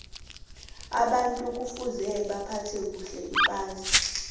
abantu kufuza baphathe kuhle iphasi